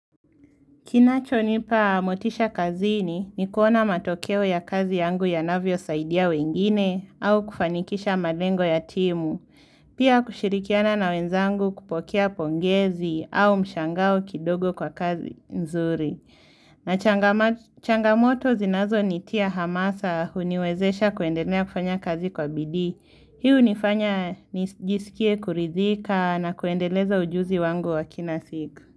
Kinachonipa motisha kazini ni kuona matokeo ya kazi yangu yanavyosaidia wengine au kufanikisha malengo ya timu, pia kushirikiana na wenzangu kupokea pongezi au mshangao kidogo kwa kazi nzuri. Na changamoto zinazonitia hamasa huniwezesha kuendelea kufanya kazi kwa bidii. Hii hunifanya nijisikie kuridhika na kuendeleza ujuzi wangu wa kila siku.